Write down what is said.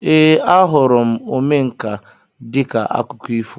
Ee, ahụrụ m Omenka dịka akụkọ ifo